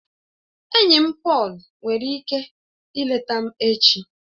Enyi m Pọọlu nwere ike ileta m echi